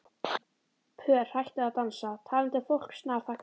Pör hættu að dansa, talandi fólk snarþagnaði.